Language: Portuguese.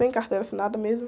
Sem carteira assinada mesmo?